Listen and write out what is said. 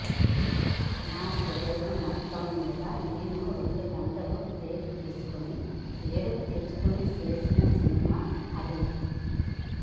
నా కెరీర్ మొత్తం మీద నేను రెండు గంటలు బ్రేక్ తీసుకుని ఏడుపు తెచ్చుకుని చేసిన సినిమా అది